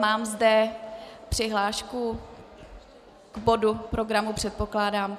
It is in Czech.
Mám zde přihlášku k bodu programu, předpokládám.